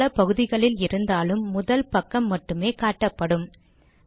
பக்கம் பல பகுதிகளில் இருந்தாலும் முதல் பக்கம் மட்டுமே காட்டப்படும்